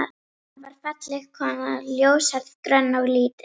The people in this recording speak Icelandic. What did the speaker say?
Anna var falleg kona, ljóshærð, grönn og lítil.